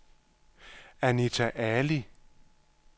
Anita Ali